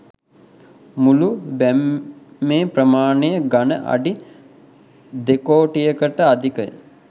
මුළු බැම්මේ ප්‍රමාණය ඝන අඩි දෙකොටියකට අධිකය.